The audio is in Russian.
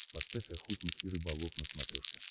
поставь охотник и рыболов на смотрешке